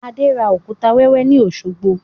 Adé ra òkúta wẹ́wẹ́ ni Osogbo